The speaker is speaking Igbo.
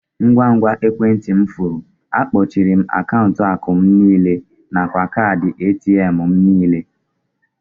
Ngwa ngwa ekwentị m furu, akpọchiere m akaụntụ akụ m niile na kaadị ATM m nile.